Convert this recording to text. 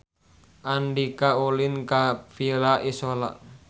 Andika ulin ka Villa Isola